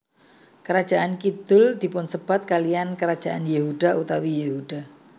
Kerajaan kidhul dipunsebat kaliyan kerajaan Yehuda utawi Yehuda